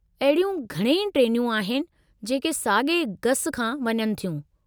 अहिड़ियूं घणई ट्रेनूं आहिनि जेके सागे॒ गसु खां वञनि थियूं।